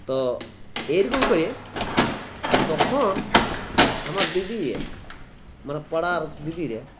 তো এরকম করে তখন আমরা দিদিরে মানে পাড়ার দিদিরে